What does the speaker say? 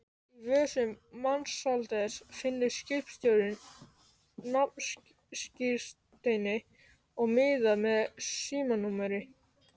Í vösum Mensalders finnur skipstjórinn nafnskírteini og miða með símanúmeri.